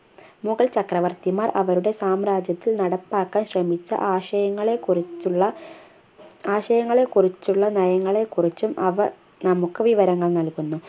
മുഗൾ ചക്രവർത്തിമാർ അവരുടെ സാമ്രാജ്യത്തിൽ നടപ്പാക്കാൻ ശ്രമിച്ച ആശയങ്ങളെക്കുറിച്ചുള്ള ആശയങ്ങളെക്കുറിച്ചുള്ള നയങ്ങളെക്കുറിച്ചും അവ നമുക്ക് വിവരങ്ങൾ നൽകുന്നു